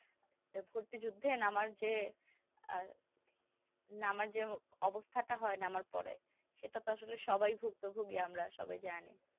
একটা ভর্তিযুদ্ধে নামার যে আহ নামার যে অবস্থাটা হয় নামার পরে সেইটা তো আসলে সবাই ভুক্তভুগি আমরা সবাই জানি